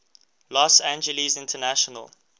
los angeles international